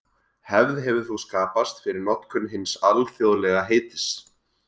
Hefð hefur þó skapast fyrir notkun hins alþjóðlega heitis.